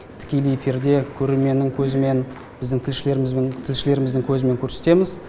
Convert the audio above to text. тікелей эфирде көрерменнің көзімен біздің тілшілеріміздің көзімен көрсетеміз